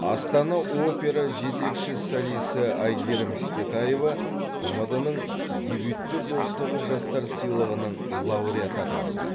астана опера жетекші солисі әйгерім бекетаева тмд ның дебюттер достастығы жастар сыйлығының лауреаты атанды